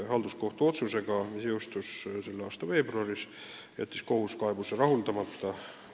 Otsusega, mis jõustus selle aasta veebruaris, jättis kohus kaebuse rahuldamata.